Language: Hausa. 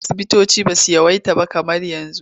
Da asubutoci ba su yawaita kamar yanzu.